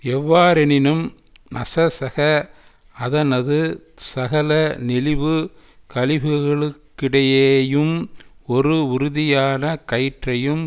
எவ்வாறெனினும் நசசக அதனது சகல நெழிவு கழிவுகளுக்கிடையேயும் ஒரு உறுதியான கயிற்றையும்